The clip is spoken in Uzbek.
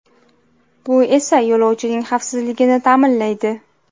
Bu esa yo‘lovchining xavfsizligini ta’minlaydi.